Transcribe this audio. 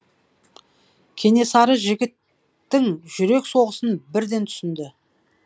кенесары жігіттің жүрек соғысын бірден түсінді